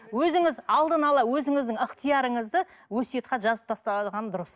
өзіңіз алдын ала өзіңіздің ыхтиярыңызды өсиет хат жазып тастаған дұрыс